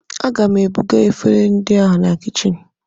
A ga m ebuga efere ndị a na kichin